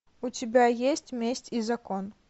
у тебя есть месть и закон